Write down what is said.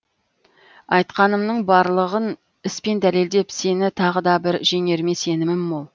айтқанымның барлығын іс пен дәлелдеп сені тағы да бір жеңеріме сенімім мол